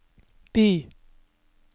by